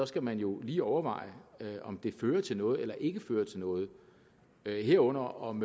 skal man jo lige overveje om det fører til noget eller ikke fører til noget herunder om